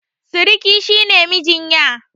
Siriki shi ne mijin ƴa